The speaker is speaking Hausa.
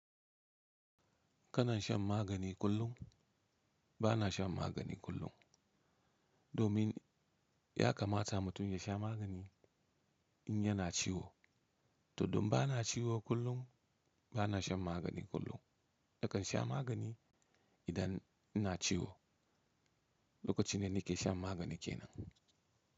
Kana shan magani kullum? Bana shan magani kullum. Domin ya kamata mutum ya sha magani in yana ciwo. To don ba na ciwo kullum, ba na shan magani kullum. Nakan sha magani idan ina ciwo. Lokacin da nake shan magani kenan.